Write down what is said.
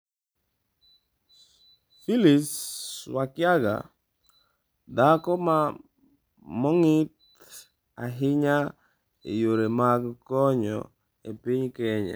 Phyllis Wakiaga: Dhako mong'ith ahinya e yore mag konyo e piny Kenya